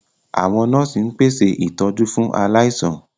Àwọn nọ́ọ̀sì ń pèsè ìtọ́jú fún aláìsàn.